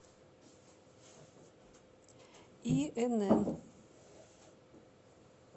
инн